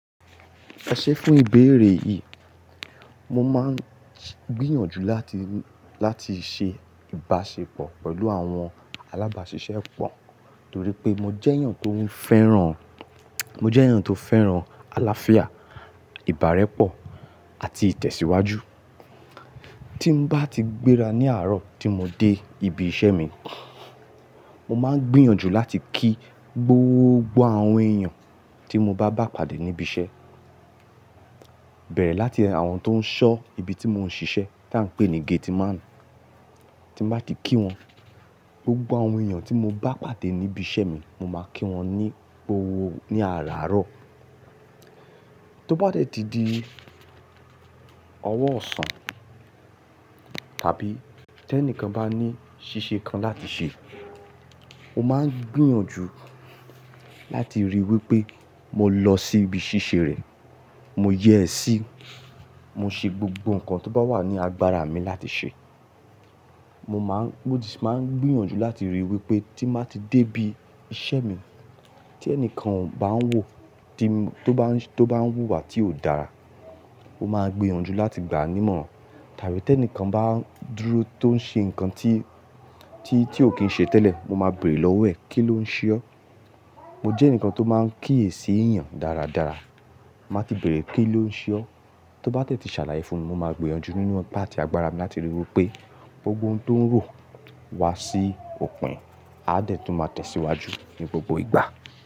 Ẹṣé fún ìbéèrè yìí, mo máa ń gbìyànjú láti, láti ṣe ìbáṣepọ̀ pẹ̀lú àwọn alábàáṣiṣẹ́ pọ̀ nítorí pé mo jẹ́ èèyàn tó ń fẹ́ràn, mo jẹ́ èèyàn tó fẹ́ràn àlàáfíà, ìbárẹ́pọ̀ àti ìtẹ̀síwájú. Tí n bá ti gbéra ní àárọ̀ tí mo dé ibi iṣẹ́ mi, mo máa ń gbìyànjú láti kí gbogbo àwọn èèyàn tí mo bá pàdé níbi iṣẹ́, bẹ̀rẹ̀ láti àwọn tó ń ṣọ́ ibi tí mò ń ṣiṣẹ́ tí à ń pè ní gateman. Tí n bá ti kí wọn, gbogbo àwọn èèyàn tí mo bá pàdé níbi iṣẹ́ mi mo máa kí wọn ní gbogbo ní àárọ̀. Tó bá dẹ̀ ti di ọwọ́ ọ̀sán tàbí tí ẹnìkan bá ní ṣíṣe kan láti ṣe, mo máa ń gbìyànjú láti ríi wí pé mo lọ sí ibi ṣíṣe rẹ̀, mo yèsí, mo ṣe gbogbo nǹkan tó bá wà ní agbára mi láti ṣe. Mo máa ń, mo sì máa ń gbìyànjú láti ríi wí pé tí mo bá ti dé ibi iṣẹ́ mi, tí ẹnìkan bá ń wò, tí, tó bá ń, tó bá ń wúwà tí ò dára, mo máa gbìnyànjú láti gbà á nímọ̀ràn. Tàbí tí ẹnìkan bá dúró tó ń ṣe nǹkan tí, tí, tí ò kí ń ṣe tẹ́lẹ̀, mo máa béèrè lọ́wọ́ ẹ̀, "Kí ló ń ṣe ọ́?" Mo jẹ́ ẹnìkan tó máa ń kíyèsí èèyàn dáradára. Máa ti béèrè, "Kí ló ń ṣe ọ́?" Tó bá dẹ̀ ti ṣàlàyé fún mi, mo máa gbìyànjú nínú ipá àti agbára mi láti ríi wí pé gbogbo ohun tó ń rò wá sí òpin, a dẹ̀ tún máa tẹ̀ síwájú ní gbogbo ìgbà.